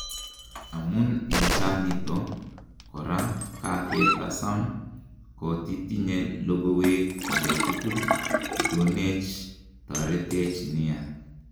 Amun en cha niton, kora kakatasam kotitinye logowek angetukul ikonech, teretech nia.,"